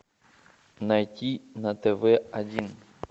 найти на тв один